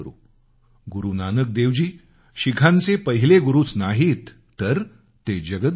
गुरु नानक देवजी शिखांचे पहिले गुरूच नाहीत तर ते जगद्गुरू आहेत